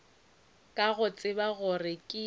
ka go tseba gore ke